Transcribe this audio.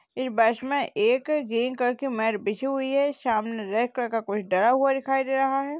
इस बस में एक ग्रीन कलर की मैट बिछी हुई है । सामने रेड कलर का कुछ डाला हुआ दिखाई दे रहा है ।